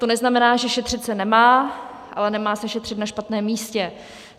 To neznamená, že šetřit se nemá, ale nemá se šetřit na špatném místě.